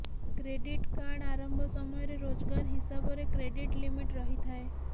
credit card ଆରମ୍ଭ ସମୟରେ ରୋଜଗାର ହିସାବରେ କ୍ରେଡ଼ିଟ ଲିମିଟ ରହିଥାଏ